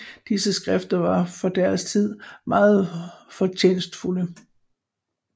Disse skrifter var for deres tid meget fortjenstfulde